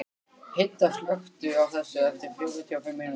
Hedda, slökktu á þessu eftir fjörutíu og fimm mínútur.